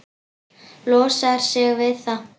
Losar sig við það.